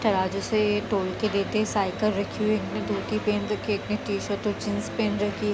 तराजू से तोल के देते साइकिल रखी हुई है इन्होने धोती पहन रखी है एक ने टी-शर्ट और जींस पहन रखी है ।